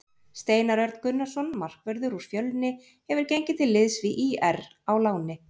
Steinar Örn Gunnarsson markvörður úr Fjölni hefur gengið til liðs við ÍR á láni.